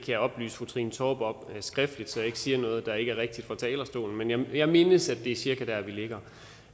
jeg oplyse fru trine torp om skriftligt så jeg ikke siger noget der ikke er rigtigt fra talerstolen men jeg mindes at det er cirka der vi ligger